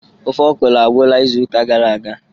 ofe okro agwụla izu ụka gara aga